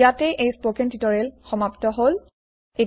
ইয়াতেই এই spoken tutorial সমাপ্ত হল